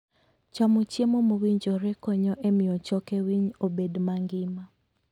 Chamo chiemo mowinjore konyo e miyo choke winy obed mangima.